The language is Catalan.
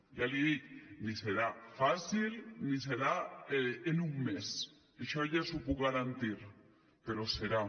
ja l’hi dic ni serà fàcil ni serà en un mes això ja li ho puc garantir però hi serà